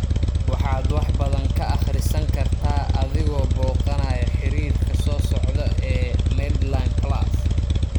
Waxaad wax badan ka akhrisan kartaa adigoo booqanaya xiriirka soo socda ee MedlinePlus.